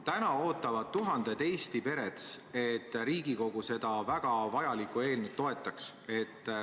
Täna ootavad tuhanded Eesti pered, et Riigikogu seda väga vajalikku eelnõu toetaks.